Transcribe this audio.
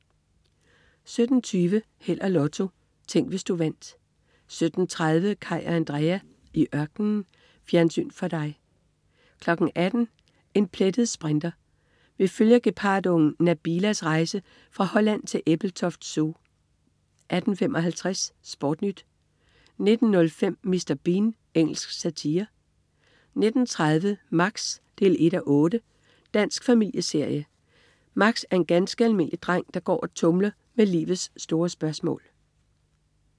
17.20 Held og Lotto. Tænk, hvis du vandt 17.30 Kaj og Andrea. I ørkenen. Fjernsyn for dig 18.00 En plettet sprinter. Vi følger gepardungen Nabila rejse fra Holland til Ebeltoft Zoo 18.55 SportNyt 19.05 Mr. Bean. Engelsk satire 19.30 Max 1:8. Dansk familieserie. Max er en ganske almindelig dreng, der går og tumler med livets store spørgsmål